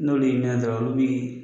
N'olu y'i minɛ dɔrɔnw, olu b'i.